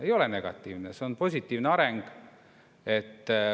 Ei ole negatiivne, see on positiivne areng.